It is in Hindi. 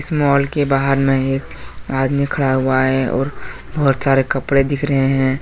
मॉल के बाहर में एक आदमी खड़ा हुआ है और बहोत सारे कपड़े दिख रहे हैं।